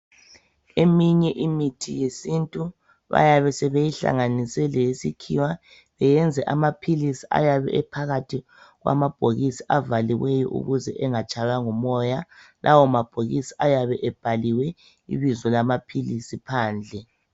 Eminye imithi yesintu bayabe sebeyihlanganise leyesikhiwa, beyenze amaphilisi ayabe ephakathi kwamabhokisi avaliweyo ukuze engatshaywa ngumoya. Lawo mabhokisi ayabe ebhaliwe ibizo lamaphilisi phandle.